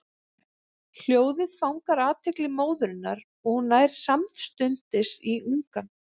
Hljóðið fangar athygli móðurinnar og hún nær samstundis í ungann.